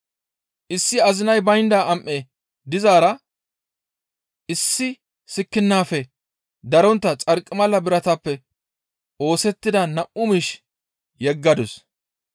Issi azinay baynda am7e dizaara issi sikkinnafe darontta xarqimala biratappe oosettida nam7u miish yeggadus.